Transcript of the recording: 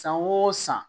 San o san